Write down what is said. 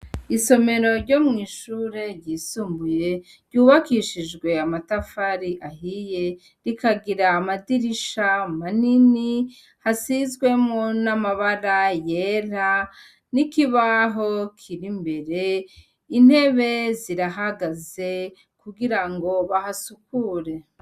Isomero ryo mw'ishure ryisumbuye, ryubakishijwe amatafari ahiye, rikagira amadirisha manini, hasizwemwo n'amabara yera n'ikibaho kiri imbere, intebe zirahagaze kugira ngo bahasukure.